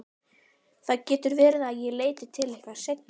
Aðeins snúa sér á hliðina og hjúfra sig í hálsakot.